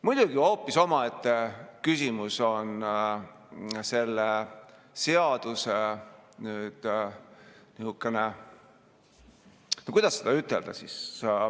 Muidugi hoopis omaette küsimus on selle seaduse nihukene, kuidas ütelda, praak.